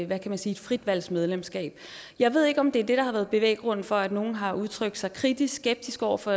hvad kan man sige frit valg medlemskab jeg ved ikke om det er det der har været bevæggrunden for at nogle har udtrykt sig kritiskskeptisk over for